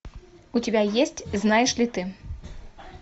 у тебя есть знаешь ли ты